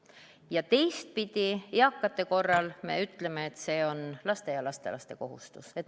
Ja teistpidi, eakate korral me ütleme, et see on laste ja lastelaste kohustus.